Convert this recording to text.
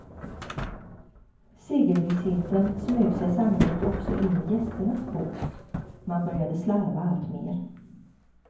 Segervissheten smög sig sannolikt också in i gästernas bås, man började slarva allt mer.